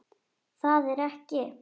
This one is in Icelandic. Það er ekki.